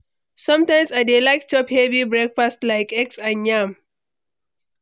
Some times, I dey like chop heavy breakfast like eggs and yam.